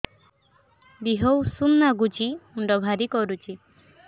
ଦିହ ଉଷୁମ ନାଗୁଚି ମୁଣ୍ଡ ଭାରି କରୁଚି